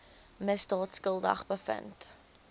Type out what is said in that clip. misdaad skuldig bevind